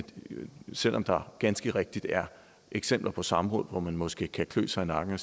selv om der ganske rigtigt er eksempler på samråd hvor man måske kan klø sig i nakken og